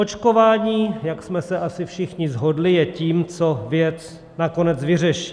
Očkování, jak jsme se asi všichni shodli, je tím, co věc nakonec vyřeší.